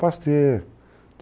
Pasteur.